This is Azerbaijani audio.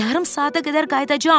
Yarım saata qədər qayıdacam.